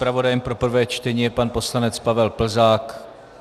Zpravodaje pro prvé čtení je pan poslanec Pavel Plzák.